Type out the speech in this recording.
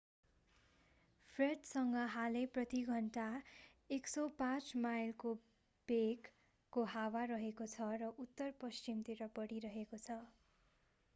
फ्रेडसँग हालै प्रति घण्टा 105 माइलको वेग 165 किमी/ घण्टा को हावा रहेको छ र उत्तर पश्चिम तिर बढिरहेको छ।